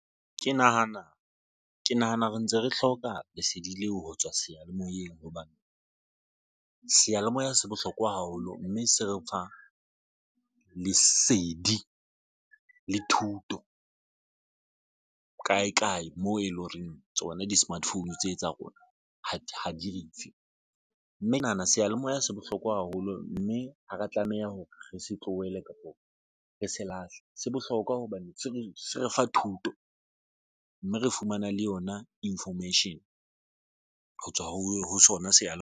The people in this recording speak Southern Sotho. Ke nahana ke nahana re ntse re hloka lesedi leo ho tswa seyalemoyeng hobane seyalemoya se bohlokwa haholo, mme se re fa lesedi le thuto kae kae moo e le horeng tsona di-smart phone tse tsa rona ha di rutise mme ke nahana seyalemoya se bohlokwa haholo mme ha re tlameha hore re se tlohele, kapa re se lahle se bohlokwa hobane se re se re fa thuto mme re fumana le yona information ho tswa ho sona seyalemoya.